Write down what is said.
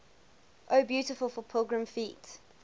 o beautiful for pilgrim feet